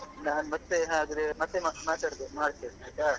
ನಾನು ಮತ್ತೆ ಹಾಗದ್ರೆ ಮತ್ತೆ ಮಾ~ ಮಾತಾಡ್~ ಮಾಡ್ತೇನೆ ಆಯ್ತಾ?